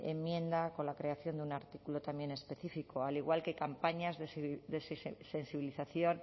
enmienda con la creación de un artículo también específico al igual que campañas de sensibilización